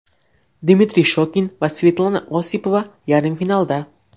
Dmitriy Shokin va Svetlana Osipova yarim finalda!.